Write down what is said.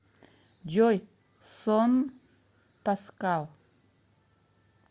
джой сон паскал